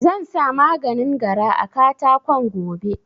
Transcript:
Zansa maganin gara a katakon gobe